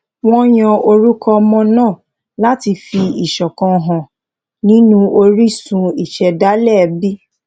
wọn yan orúkọ ọmọ náà láti fi ìṣọkan hàn nínú orísun ìṣẹdálẹ ẹbí